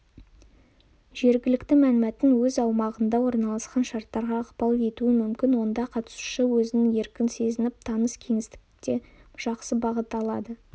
жергілікті мәнмәтін өз аумағында орналасып шарттарға ықпал етуі мүмкін онда қатысушы өзін еркін сезініп таныс кеңістікте жақсы бағыт алады